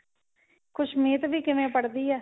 ਖੁਸ਼ਮੀਤ ਵੀ ਕਿਵੇਂ ਪੜ੍ਦੀਹ ਏ